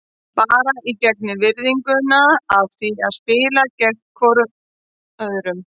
Bara í gegnum virðinguna af því að spila gegn hvorum öðrum.